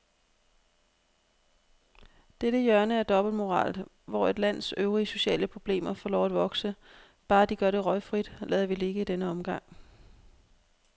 Dette hjørne af dobbeltmoral, hvor et lands øvrige sociale problemer får lov at vokse, bare de gør det røgfrit, lader vi ligge i denne omgang.